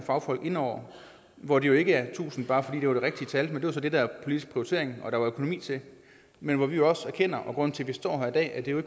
fagfolk inde over hvor det jo ikke er tusind bare fordi det var det rigtige tal men det var så det der var politisk prioritering og der var økonomi til men hvor vi også erkender og grunden til at vi står her i dag at det jo